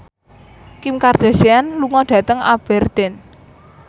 Kim Kardashian lunga dhateng Aberdeen